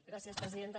gràcies presidenta